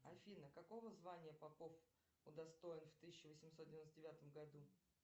афина какого звания попов удостоен в тысяча восемьсот девяносто девятом году